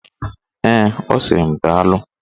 Ee, ọ sịrị m daalụ.